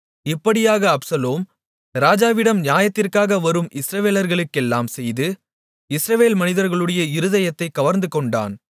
இப்படியாக அப்சலோம் ராஜாவிடம் நியாயத்திற்காக வரும் இஸ்ரவேலர்களுக்கெல்லாம் செய்து இஸ்ரவேல் மனிதர்களுடைய இருதயத்தைக் கவர்ந்துகொண்டான்